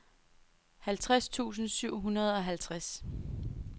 halvtreds tusind syv hundrede og halvtreds